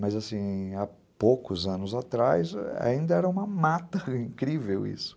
Mas assim, há poucos anos atrás ainda era uma mata incrível isso.